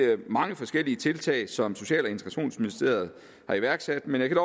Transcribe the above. mange forskellige tiltag som social og integrationsministeriet har iværksat men jeg kan